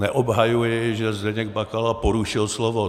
Neobhajuji, že Zdeněk Bakala porušil slovo.